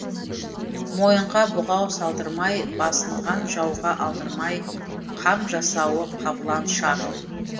мойынға бұғау салдырмай басынған жауға алдырмай қам жасауы қабыланша